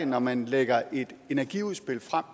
når man lægger et energiudspil frem